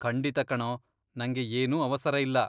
ಖಂಡಿತ ಕಣೋ, ನಂಗೆ ಏನೂ ಅವಸರ ಇಲ್ಲ.